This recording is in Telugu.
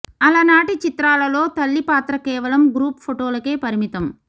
అలనాటి చిత్రాలలో తల్లి పాత్ర కేవలం గ్రూప్ ఫొటోలకే పరిమితం